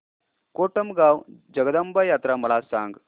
कोटमगाव जगदंबा यात्रा मला सांग